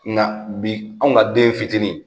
Nka bi anw ka den fitini